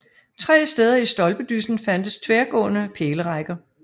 Tre steder i stolpedyssen fandtes tværgående pælerækker